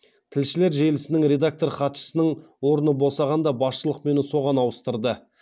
тілшілер желісінің редактор хатшысының орны босағанда басшылық мені соған ауыстырды